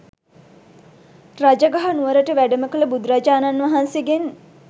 රජගහ නුවරට වැඩම කළ බුදුරජාණන් වහන්සේගෙන්